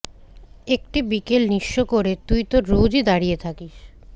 একটি বিকেল নিঃস্ব করে তুই তো রোজই দাঁড়িয়ে থাকিস